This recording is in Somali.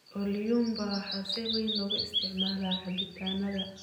Ulyumba waxaa si weyn loogu isticmaalaa cabitaannada.